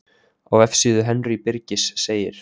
Á vefsíðu Henry Birgis segir: